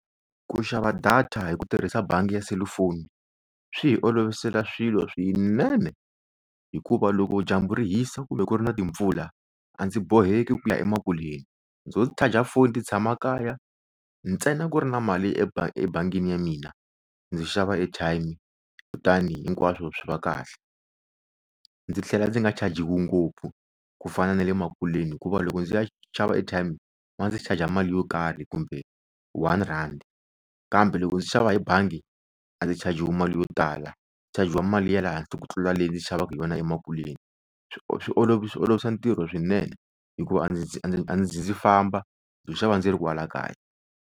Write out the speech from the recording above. Ku xava data hi ku tirhisa bangi ya selufoni swi hi olovisela swilo swinene hikuva loko dyambu ri hisa kumbe ku ri na timpfula a ndzi boheki ku ya emakuleni ndzo charge foni ni tshama kaya ntsena ku ri na mali ebangi ebangini ya mina ndzi xava airtime kutani hinkwaswo swi va kahle ndzi tlhela ndzi nga ngopfu ku fana na le makuleni hikuva loko ndzi ya xava airtime ma ndzi charge mali yo karhi kumbe one rand kambe loko ndzi xava hi bangi a ndzi mali yo tala ndzi mali ya le henhla ku tlula leyi ndzi xavaku hi yona emakuleni swi olovi olovisa ntirho wa swinene hikuva a ndzi a ndzi famba ndzo xava ndzi ri kwala kaya.